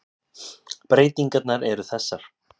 Breytingarnar eru þessar.